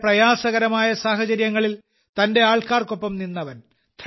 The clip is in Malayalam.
വളരെ പ്രയാസകരമായ സാഹചര്യങ്ങളിൽ തന്റെ ആൾക്കാർക്കൊപ്പം നിന്നവൻ